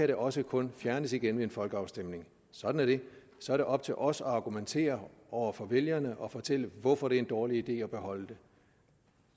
det også kun fjernes igen ved en folkeafstemning sådan er det så er det op til os at argumentere over for vælgerne og fortælle hvorfor det er en dårlig idé at beholde det